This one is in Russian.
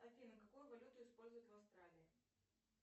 афина какую валюту используют в австралии